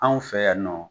Anw fɛ yan nɔ